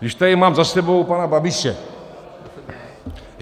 Když tady mám za sebou pana Babiše.